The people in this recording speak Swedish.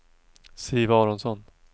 Siv Aronsson